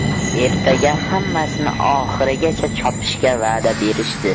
Ertaga hammasini oxirigacha chopishga va’da berishdi.